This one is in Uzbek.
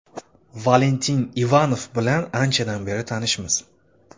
Valentin Ivanov bilan anchadan beri tanishmiz.